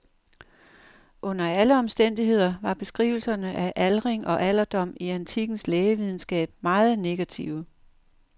Under alle omstændigheder var beskrivelserne af aldring og alderdom i antikkens lægevidenskab meget negative.